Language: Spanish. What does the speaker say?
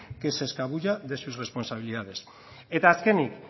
que se escabulla de su responsabilidades eta azkenik